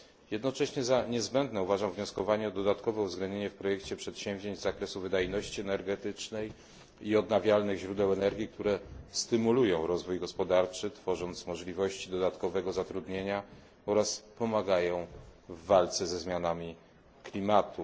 Jednocześnie uważam, że należy domagać się dodatkowego uwzględnienia w projekcie przedsięwzięć w zakresie wydajności energetycznej i odnawialnych źródeł energii, które stymulują rozwój gospodarczy, tworząc możliwości dodatkowego zatrudnienia, oraz pomagają w walce ze zmianami klimatu.